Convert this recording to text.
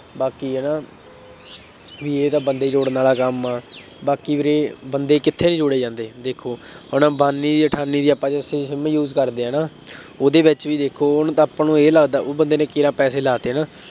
ਬਾਕੀ ਹੈ ਨਾ ਬਈ ਇਹ ਤਾਂ ਬੰਦੇ ਜੋੜਨ ਵਾਲਾ ਕੰਮ ਆ, ਬਾਕੀ ਵੀਰੇ ਬੰਦੇ ਕਿੱਥੇ ਨਹੀਂ ਜੋੜੇ ਜਾਂਦੇ, ਦੇਖੋ ਹੁਣ ਅੰਬਾਨੀ ਦੀ ਅਠਾਨੀ ਦੀ ਆਪਾਂ ਜਦੋਂ SIM ਕਰਦੇ ਹੈ ਨਾ ਉਹਦੇ ਵਿੱਚ ਵੀ ਦੇਖੋ ਹੁਣ ਤਾਂ ਇਹ ਲੱਗਦਾ ਵਾ ਉਹ ਬੰਦੇ ਨੇ ਕੇਰਾਂ ਪੈਸੇ ਲਾ ਤੇ ਹੈ ਨਾ